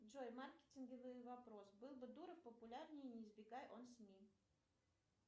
джой маркетинговый вопрос был бы дуров популярнее не избегай он сми